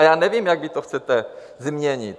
A já nevím, jak vy to chcete změnit.